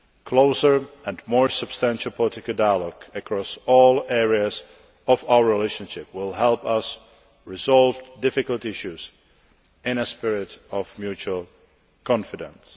Closer and more substantial political dialogue across all areas of our relationship will help us resolve difficult issues in a spirit of mutual confidence.